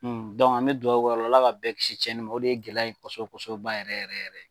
an mɛ duwahu kɛ Ala ka bɛɛ kisi cɛnni ma o de ye gɛlɛya in kosɔbɛ kosɔbɛ ba yɛrɛ yɛrɛ yɛrɛ